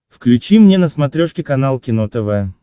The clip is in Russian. включи мне на смотрешке канал кино тв